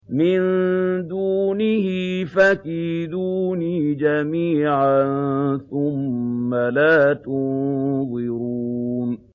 مِن دُونِهِ ۖ فَكِيدُونِي جَمِيعًا ثُمَّ لَا تُنظِرُونِ